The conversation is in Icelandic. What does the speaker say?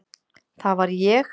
Það var ég.